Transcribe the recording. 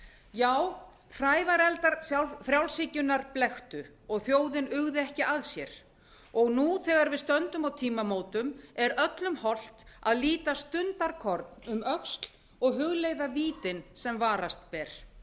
já hrævareldar frjálshyggjunnar blekktu og þjóðin uggði ekki að sér og nú þegar við stöndum á tímamótum er öllum hollt að líta stundarkorn um öxl og hugleiða vítin sem varast ber